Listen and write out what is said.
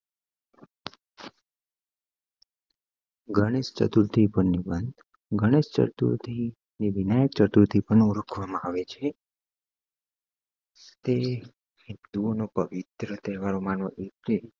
ગણેશ ચતુર્થી ઉપર નિબંધ ગણેશ ચતુર્થી ને વિઘ્નચતુર્થી પણ ઓળખવા માં આવે છે તે હિન્દુ ઓનું પવિત્ર